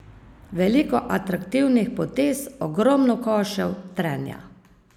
Veliko atraktivnih potez, ogromno košev, trenja ...